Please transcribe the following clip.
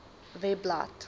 webblad